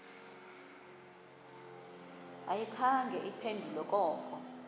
ayikhange iphendule koko